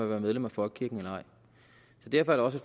være medlem af folkekirken eller ej så derfor er det også